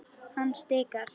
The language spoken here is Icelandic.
Hann stikar.